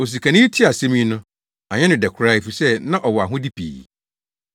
Osikani yi tee saa asɛm yi no, anyɛ no dɛ koraa efisɛ na ɔwɔ ahode pii.